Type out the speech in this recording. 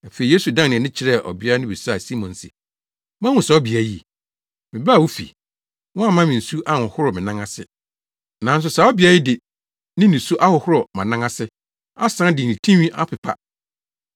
Afei Yesu dan nʼani kyerɛɛ ɔbea no bisaa Simon se, “Woahu saa ɔbea yi? Mebaa wo fi, woamma me nsu anhohoro mʼanan ase; nanso saa ɔbea yi de ne nisu ahohoro mʼanan ase, asan de ne tinwi apepa.